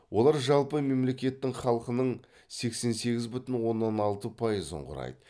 олар жалпы мемлекеттің халқының сексен сегіз бүтін оннан алты пайызын құрайды